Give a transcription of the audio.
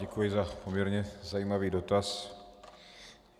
Děkuji za poměrně zajímavý dotaz.